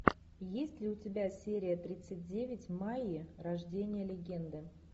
есть ли у тебя серия тридцать девять майя рождение легенды